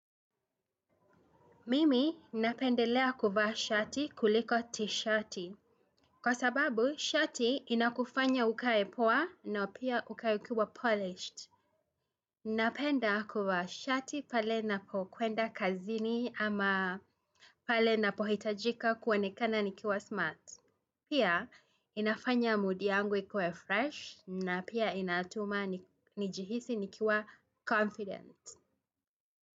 Mimi napendelea kuvaa shati kuliko t-shati. Kwa sababu, shati inakufanya ukae poa na pia ukae ukiwa polished. Napenda kuvaa shati pale napokuenda kazini ama pale na pohitajika kuonekana nikiwa smart. Pia, inafanya moodi yangu ikue fresh na pia inatuma nijihisi nikiwa confident.